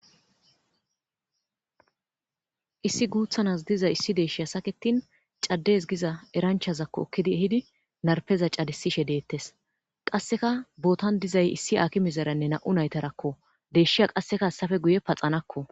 Issi guuththa nas diza issi deyshshi saketin caddes giza eranchazakko ekkidi eehidi narpeza caddisishe deettes qasseka bootan dizay issi haakimezaranne nam'u naytarakko deyshshiya qasekka hessappe guye paxanakko